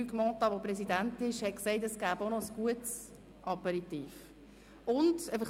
Luc Mentha, Präsident des Stiftungsrats, hat erwähnt, dass ein guter Aperitif serviert wird.